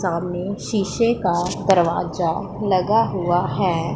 सामने शीशे का दरवाजा लगा हुआ है।